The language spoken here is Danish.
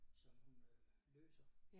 Som hun øh løser